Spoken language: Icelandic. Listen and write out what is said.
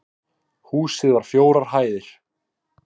Húsið var fjórar hæðir